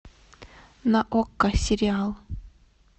на окко сериал